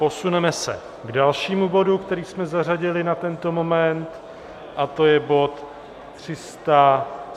Posuneme se k dalšímu bodu, který jsme zařadili na tento moment, a to je bod